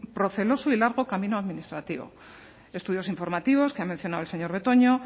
largo camino administrativo estudios informativos que ha mencionado el señor betoño